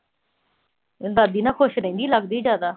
ਦਾਦੀ ਨਾਲ ਖੁਸ਼ ਰਹਿੰਦੀ ਲਗਦਾ ਜ਼ਿਆਦਾ।